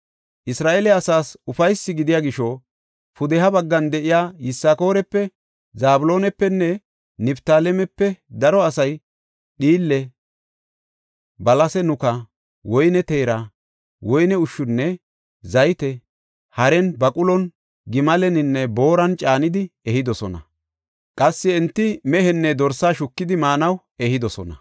Isra7eele asaas ufaysi gidiya gisho, pudeha baggan de7iya Yisakoorape, Zabloonapenne Niftaalemepe daro asay dhiille, balase nuka, woyne teera, woyne ushshunne zayte haren, baqulon, gimaleninne booran caanidi ehidosona; qassi enti mehenne dorse shukidi maanaw ehidosona.